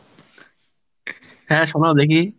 হ্যাঁ শোনাও দেখি।